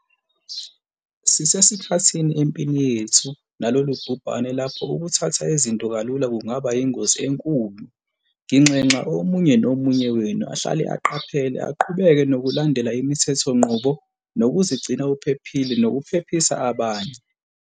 Sisesikhathini empini yethu nalolu bhubhane lapho ukuthatha izinto kalula kungaba yingozi enkulu. Nginxenxa omunye nomunye wenu ahlale eqaphele, aqhubeke nokulandela imithethonqubo, nokuzigcina uphephile nokuphephisa abanye.